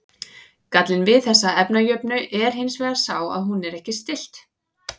Gallinn við þessa efnajöfnu er hins vegar sá að hún er ekki stillt.